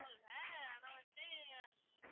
ஆனா வந்து